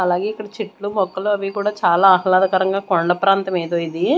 అలాగే ఇక్కడ చెట్లు మొక్కలు అవి కూడా చాలా ఆహ్లాదకరంగా కొండ ప్రాంతం ఏదో ఇది.